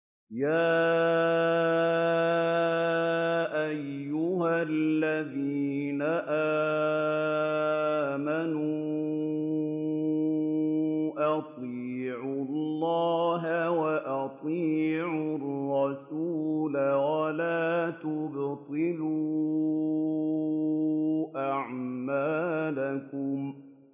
۞ يَا أَيُّهَا الَّذِينَ آمَنُوا أَطِيعُوا اللَّهَ وَأَطِيعُوا الرَّسُولَ وَلَا تُبْطِلُوا أَعْمَالَكُمْ